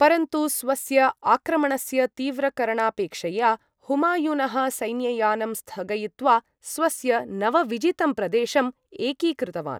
परन्तु, स्वस्य आक्रमणस्य तीव्रकरणापेक्षया, हुमायूनः सैन्ययानं स्थगयित्वा, स्वस्य नवविजितं प्रदेशम् एकीकृतवान्।